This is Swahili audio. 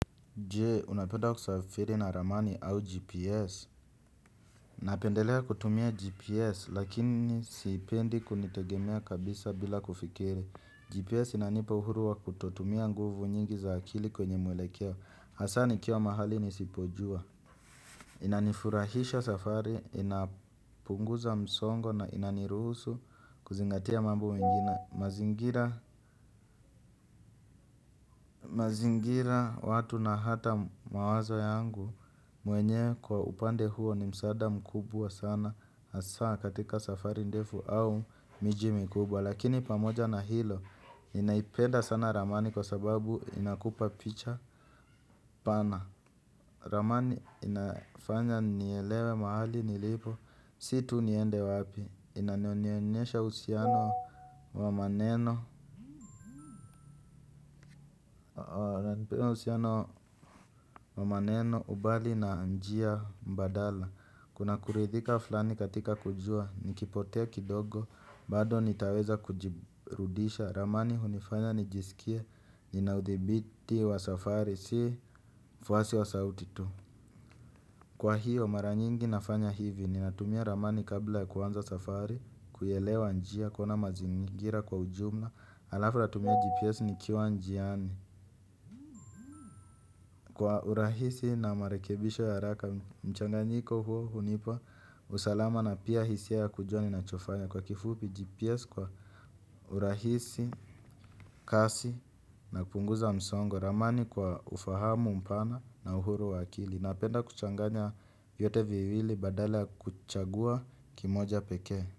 Jee, unapenda kusafiri na ramani au GPS? Napendelea kutumia GPS, lakini sipendi kulitegemea kabisa bila kufikiri. GPS inanipa uhuru wa kutotumia nguvu nyingi za akili kwenye mwelekeo. Hasa nikiwa mahali nisipojua. Inanifurahisha safari, inapunguza msongo na ina niruhusu kuzingatia mambo mengine. Na mazingira watu na hata mawazo yangu mwenyewe kwa upande huo ni msaada mkubwa sana hasaa katika safari ndefu au miji mikubwa. Lakini pamoja na hilo ninaipenda sana ramani kwa sababu inakupa picha pana. Ramani inafanya nielewe mahali nilipo, si tu niende wapi. Inanionyesha uhusiano wa maneno ubali na njia mbadala. Kuna kuridhika flani katika kujua nikipotea kidogo bado nitaweza kujirudisha. Ramani hunifanya nijisikie ninaudhibiti wa safari. Si fuasi wa sauti tu. Kwa hiyo mara nyingi nafanya hivi. Ninatumia ramani kabla ya kuanza safari. Kuelewa njia kuona mazingira kwa ujumla alafu natumia GPS nikiwa njiani. Kwa urahisi na marekebisho ya haraka mchanganyiko huo hunipa usalama na pia hisia ya kujua ninachofanya. Kwa kifupi GPS kwa urahisi, kasi na kupunguza msongo. Ramani kwa ufahamu mpana na uhuru wa akili. Napenda kuchanganya yote viwili badala kuchagua kimoja pekee.